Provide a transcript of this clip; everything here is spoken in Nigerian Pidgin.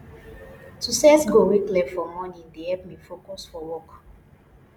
to set goal wey clear for morning dey help me focus for work